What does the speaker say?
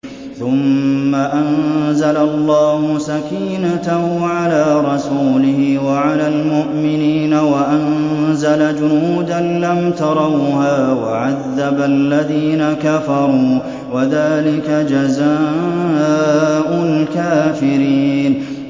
ثُمَّ أَنزَلَ اللَّهُ سَكِينَتَهُ عَلَىٰ رَسُولِهِ وَعَلَى الْمُؤْمِنِينَ وَأَنزَلَ جُنُودًا لَّمْ تَرَوْهَا وَعَذَّبَ الَّذِينَ كَفَرُوا ۚ وَذَٰلِكَ جَزَاءُ الْكَافِرِينَ